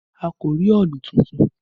A kò rí òòlù tuntun